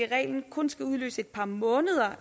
i reglen kun skal udløse et par måneders